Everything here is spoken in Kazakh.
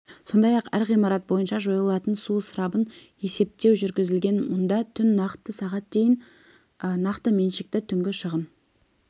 сондай-ақ әр ғимарат бойынша жойылатын су ысырабын есептеу жүргізілген мұнда түн нақты сағат дейін нақты меншікті түнгі шығын